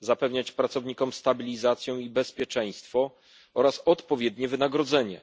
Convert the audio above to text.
Zapewniać pracownikom stabilizację i bezpieczeństwo oraz odpowiednie wynagrodzenie.